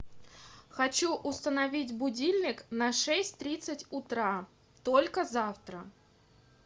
хочу установить будильник на шесть тридцать утра только завтра